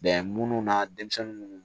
munnu na denmisɛnnu